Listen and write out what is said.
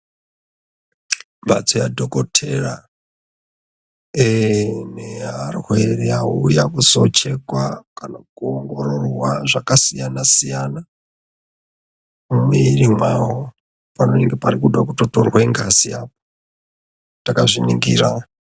Mhatso yadhokodheya neyearwere auya kuzo chekwa kana kuongororwa zvakasiyana siyana panenge peida kutotorwa ngazi takazviningira.